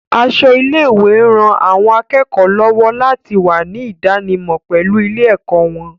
Aṣọ ilé-ìwé ń ran àwọn akẹ́kọ̀ọ́ lọ́wọ́ láti wà ní ìdánimọ̀ pẹ̀lú ilé-ẹ̀kọ́ wọn